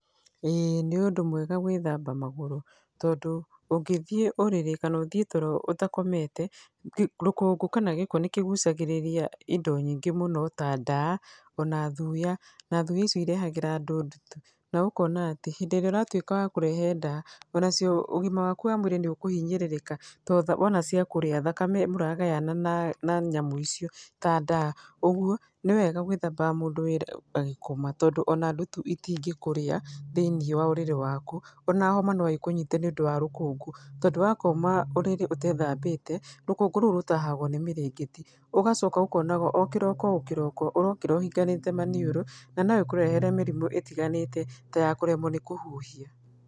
ĩĩ nĩ ũndũ mwega gwĩthamba magũrũ, tondũ ũngĩthiĩ ũrĩrĩ kana ũthiĩ toro, ũtakomete, rũkũngũ kana gĩko nĩ kĩgucagĩríĩia indo nyingĩ mũno ta ndaa, ona thuya, na thuya icio irehagĩra andũ ndutu. Na ũkona atĩ hĩndĩ ĩrĩa ũratuĩka wa kũrehe ndaa, ona cio, ũgima waku wamwĩrĩ nĩ ũkũhinyĩrĩrĩka, tondũ wona ciakũrĩa, thakame mũragayana na nyamũ icio ta ndaa. Ũguo nĩ wega gwithambaga mũndũ agĩkoma tondũ ona ndutu itingĩkũria thĩiniĩ wa ũrĩrĩ waku. Ona homa no ĩkũnyite nĩ ũndũ wa rũkũngũ, tondũ wakoma ũrĩrĩ ũtethambĩte, rũkũngũ rũu rũtahagwo nĩ mĩrĩngĩti. Ũgacoka ũkonaga o kĩroko o kĩroko ũrokĩra ũhinganĩte maniũrũ, na noĩkũrehere mĩrimũ ĩtiganĩte ta ya kũremwo nĩ kũhuhia.